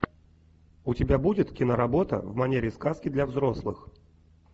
у тебя будет киноработа в манере сказки для взрослых